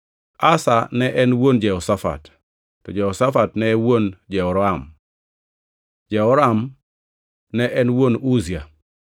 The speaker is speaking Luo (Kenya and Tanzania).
Asa ne en wuon Jehoshafat, Jehoshafat ne en wuon Jehoram, Jehoram ne en wuon Uzia,